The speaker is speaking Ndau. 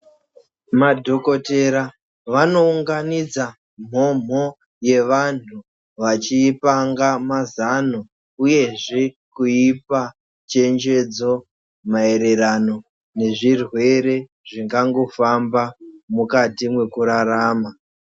Madhokotera vano unganidza mhomho ye vandu vachi ipanga mazano uye zve kuipa chechenjedzo maererano nezvirwere zvingango famba mukati mwekurarama.